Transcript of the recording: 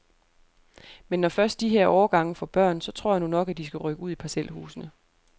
Men når først de her årgange får børn, så tror jeg nu nok, at de skal rykke ud i parcelhusene.